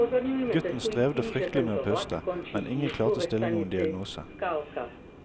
Gutten strevde fryktelig med å puste, men ingen klarte å stille noen diagnose.